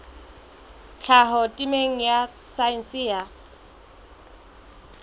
tlhaho temeng ya saense ya